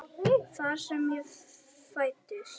Þar sem ég fæddist.